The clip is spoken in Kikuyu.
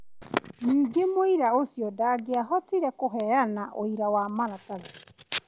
Ningĩ mũira ũcio ndangĩahotire kũheana ũira wa maratathi ,